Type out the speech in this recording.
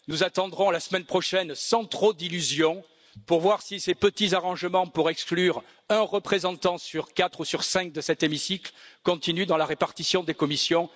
Nous attendrons la semaine prochaine, sans trop d'illusions, pour voir si ces petits arrangements visant à exclure un représentant sur quatre ou sur cinq de cet hémicycle continuent dans la répartition des commissions.